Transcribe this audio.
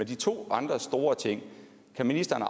de to andre store ting kan ministeren